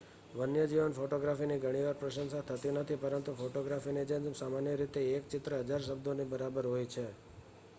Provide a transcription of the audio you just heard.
વન્યજીવન ફોટોગ્રાફીની ઘણી વાર પ્રશંસા થતી નથી પરંતુ ફોટોગ્રાફીની જેમ સામાન્ય રીતે એક ચિત્ર હજાર શબ્દોની બારોબર હોય છે